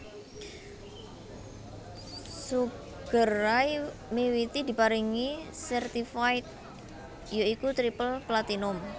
Sugar Ray miwiti diparingi certified ya iku triple platinum